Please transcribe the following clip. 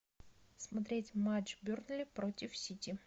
смотреть матч бернли против сити